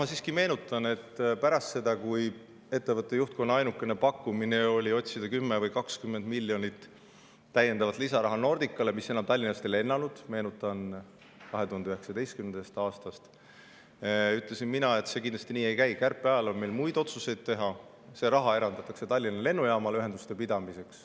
Ma siiski meenutan, et pärast seda, kui ettevõtte juhtkonna ainukene pakkumine oli otsida 10 või 20 miljonit lisaraha Nordicale, mis enam Tallinnast ei lennanud – meenutan, et 2019. aastast –, ütlesin mina, et see kindlasti nii ei käi, kärpeajal on meil muid otsuseid teha ja see raha eraldatakse Tallinna Lennujaamale ühenduste pidamiseks.